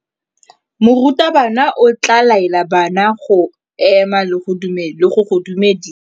Morutabana o tla laela bana go ema le go go dumedisa.